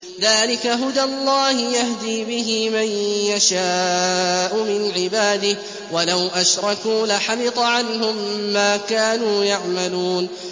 ذَٰلِكَ هُدَى اللَّهِ يَهْدِي بِهِ مَن يَشَاءُ مِنْ عِبَادِهِ ۚ وَلَوْ أَشْرَكُوا لَحَبِطَ عَنْهُم مَّا كَانُوا يَعْمَلُونَ